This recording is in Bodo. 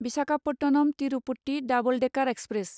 Visakhapatnam Tirupati double decker express